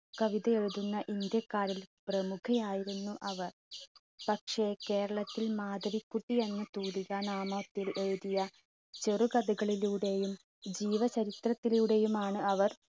കവിത എഴുതുന്ന india ക്കാരിൽ പ്രമുഖയായിരുന്നു അവർ. പക്ഷെ കേരളത്തിൽ മാധവികുട്ടി എന്ന തൂലിക നാമത്തിൽ എഴുതിയ ചെറുകഥകളിലൂടെയും ജീവ ചരിത്രത്തിലൂടെയുമാണ് അവർ